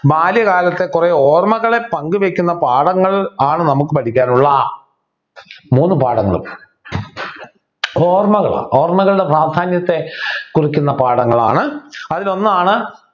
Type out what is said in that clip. ബാല്യകാലത്തെ കുറെ ഓർമ്മകളെ പങ്കുവയ്ക്കുന്ന പാഠങ്ങൾ ആണ് നമുക്ക് പഠിക്കാനുള്ള മൂന്നു പാഠങ്ങളും ഓർമ്മകളാണ് ഓർമ്മകളുടെ പ്രാധാന്യത്തെ കുറിക്കുന്ന പാഠങ്ങളാണ് അതിലൊന്നാണ്